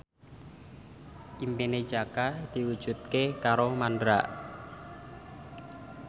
impine Jaka diwujudke karo Mandra